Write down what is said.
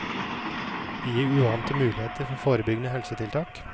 Det gir uante muligheter for forebyggende helsetiltak.